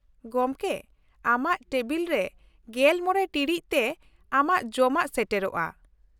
ᱜᱚᱝᱠᱮ, ᱟᱢᱟᱜ ᱴᱮᱵᱤᱞ ᱨᱮ ᱑᱕ ᱴᱤᱲᱤᱡ ᱛᱮ ᱟᱢᱟᱜ ᱡᱚᱢᱟᱜ ᱥᱮᱴᱮᱨᱚᱜᱼᱟ ᱾